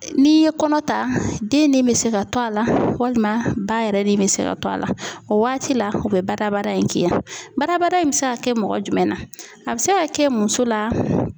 N'i ye kɔnɔ ta den nin bɛ se ka to a la walima ba yɛrɛ de bɛ se ka to a la o waati la u bɛ badabada in k'i la badabada in bɛ se ka kɛ mɔgɔ jumɛn na a bi se ka kɛ muso la.